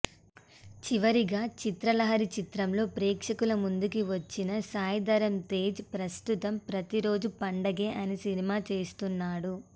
చివరిగా చిత్రలహరి చిత్రంతో ప్రేక్షకుల ముందుకు వచ్చిన సాయి ధరమ్ తేజ్ ప్రస్తుతం ప్రతిరోజూ పండగే అనే సినిమా చేస్తున్నాడు